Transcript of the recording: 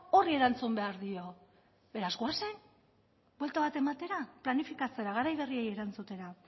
horri erantzun behar dio beraz goazen buelta bat ematera planifikatzera garai berriei erantzutera